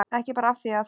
Ekki bara af því að